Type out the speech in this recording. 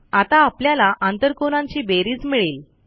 आता आपल्याला आंतरकोनांची बेरीज मिळेल